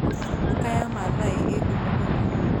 Duka ya Maathai ĩĩ ngumo mũno.